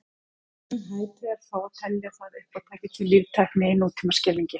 Mjög hæpið er þó að telja það uppátæki til líftækni í nútímaskilningi.